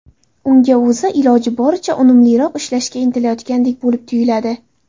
Unga o‘zi, iloji boricha unumliroq ishlashga intilayotgandek bo‘lib tuyuladi.